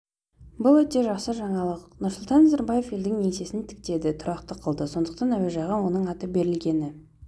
бұл өте жақсы жаңалық нұрсұлтан назарбаев елдің еңсесін тіктеді тұрақты қылды сондықтан әуежайға оның аты берілгені